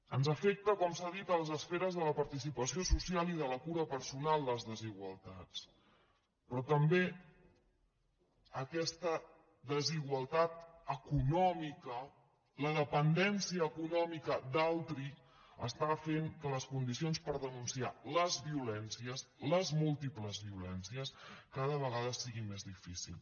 ens afecten com s’ha dit a les esferes de la participació social i de la cura personal les desigualtats però també aquesta desigualtat econòmica la dependència econòmica d’altri està fent que les condicions per denunciar les violències les múltiples violències cada vegada sigui més difícil